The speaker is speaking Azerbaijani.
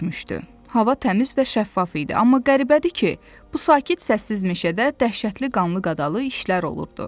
Hava təmiz və şəffaf idi, amma qəribədir ki, bu sakit səssiz meşədə dəhşətli qanlı-qadalı işlər olurdu.